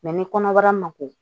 ni kɔnɔbara ma ko